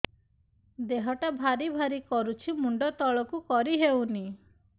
ଦେହଟା ଭାରି ଭାରି କରୁଛି ମୁଣ୍ଡ ତଳକୁ କରି ହେଉନି